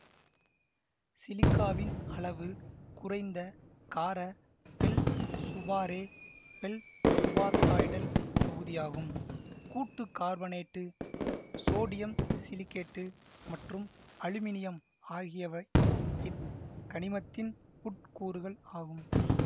சிலிக்காவின் அளவு குறைந்த கார ஃபெல்சுபாரே ஃபெல்சுபாதாய்டல் தொகுதியாகும் கூட்டு கார்பனேட்டு சோடியம் சிலிக்கேட்டு மற்றும் அலுமினியம் ஆகியவை இக்கனிமத்தின் உட்கூறுகள் ஆகும்